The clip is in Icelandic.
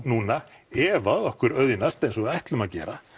núna ef að okkur auðnast eins og við ætlum að gera